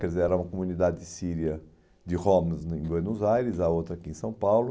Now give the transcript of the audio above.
Quer dizer, era uma comunidade síria de Homs em Buenos Aires, a outra aqui em São Paulo.